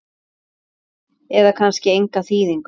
eða kannski enga þýðingu?